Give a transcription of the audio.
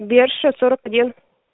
берша сорок один